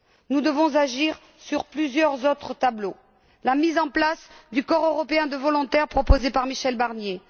Nous devons agir sur plusieurs autres tableaux la mise en place du Corps européen de volontaires proposé par Michel Barnier